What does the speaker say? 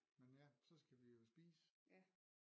Men ja så skal vi jo spise